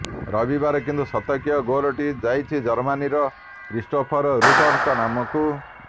ରବିବାର କିନ୍ତୁ ଶତକୀୟ ଗୋଲଟି ଯାଇଛି ଜର୍ମାନିର କ୍ରିଷ୍ଟ୍ରୋଫର ରୁର୍ଙ୍କ ନାମକୁ